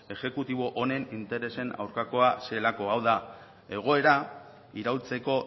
exekutibo honen interesen aurkakoa zelako hau da egoera iraultzeko